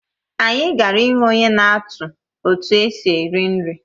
Anyị gara ịhụ onye na-atụ etu esi eri nri